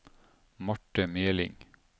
Marte Meling